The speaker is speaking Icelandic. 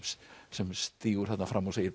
sem stígur þarna fram og segir